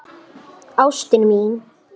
Ástin mín!